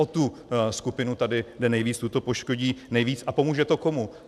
O tu skupinu tady jde nejvíc, tu to poškodí nejvíc - a pomůže to komu?